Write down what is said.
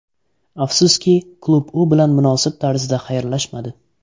Afsuski, klub u bilan munosib tarzda xayrlashmadi.